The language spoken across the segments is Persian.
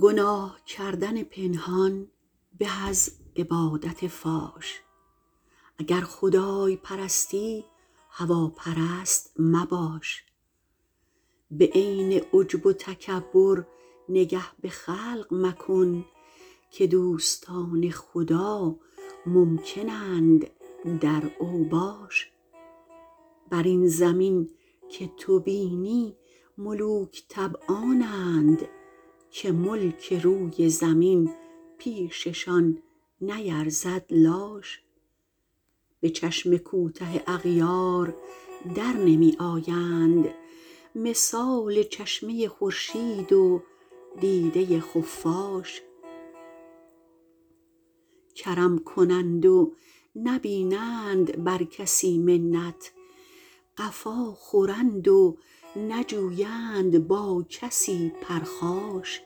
گناه کردن پنهان به از عبادت فاش اگر خدای پرستی هواپرست مباش به عین عجب و تکبر نگه به خلق مکن که دوستان خدا ممکن اند در اوباش بر این زمین که تو بینی ملوک طبعانند که ملک روی زمین پیششان نیرزد لاش به چشم کوته اغیار در نمی آیند مثال چشمه خورشید و دیده خفاش کرم کنند و نبینند بر کسی منت قفا خورند و نجویند با کسی پرخاش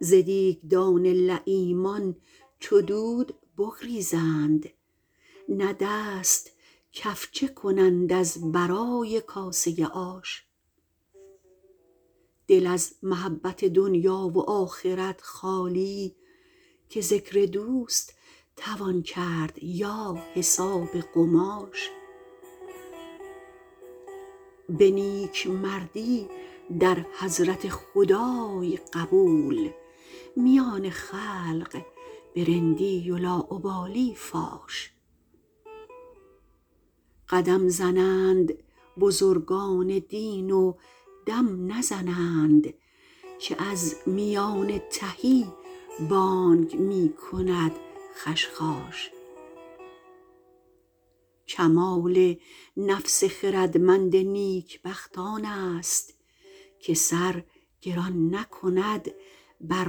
ز دیگدان لییمان چو دود بگریزند نه دست کفچه کنند از برای کاسه آش دل از محبت دنیا و آخرت خالی که ذکر دوست توان کرد یا حساب قماش به نیکمردی در حضرت خدای قبول میان خلق به رندی و لاابالی فاش قدم زنند بزرگان دین و دم نزنند که از میان تهی بانگ می کند خشخاش کمال نفس خردمند نیکبخت آن است که سر گران نکند بر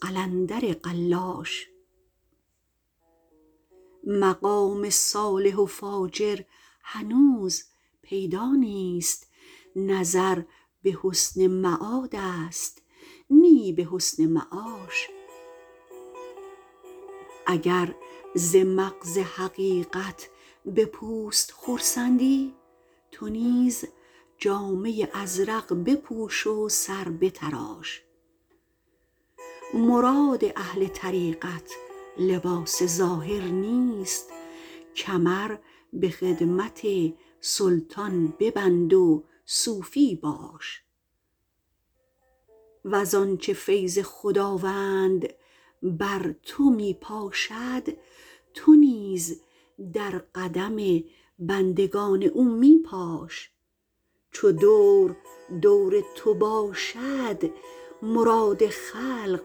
قلندر قلاش مقام صالح و فاجر هنوز پیدا نیست نظر به حسن معاد است نی به حسن معاش اگر ز مغز حقیقت به پوست خرسندی تو نیز جامه ازرق بپوش و سر بتراش مراد اهل طریقت لباس ظاهر نیست کمر به خدمت سلطان ببند و صوفی باش وز آنچه فیض خداوند بر تو می پاشد تو نیز در قدم بندگان او می پاش چو دور دور تو باشد مراد خلق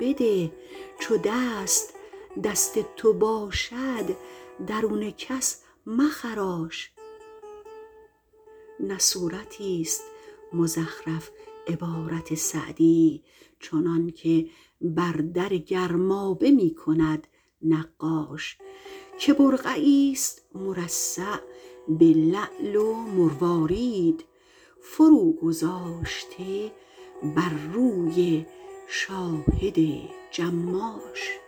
بده چو دست دست تو باشد درون کس مخراش نه صورتیست مزخرف عبارت سعدی چنانکه بر در گرمابه می کند نقاش که برقعیست مرصع به لعل و مروارید فرو گذاشته بر روی شاهد جماش